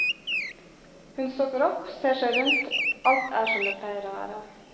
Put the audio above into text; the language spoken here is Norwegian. Hun stopper opp, ser seg rundt, alt er som det pleier å være.